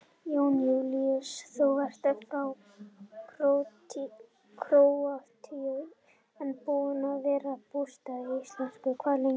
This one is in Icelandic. Jón Júlíus: Þú ert frá Króatíu en búinn að vera búsettur á Íslandi hvað lengi?